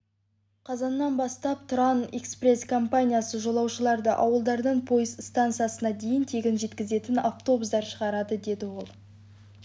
қазаннан бастап тұран экспресс компаниясы жолаушыларды ауылдардан пойыз стансасына дейін тегін жеткізетін автобустар шығарады деді ол